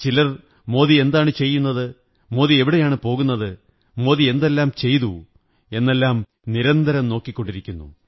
ചിലർ മോദി എന്താണു ചെയ്യുന്നത് മോദി എവിടെയാണു പോകുന്നത് മോദി എന്തെല്ലാം ചെയ്തു എന്നതെല്ലാം നിരന്തരം നോക്കിക്കൊണ്ടിരിക്കുന്നു